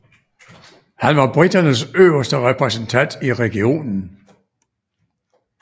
Han var briternes øverste repræsentant i regionen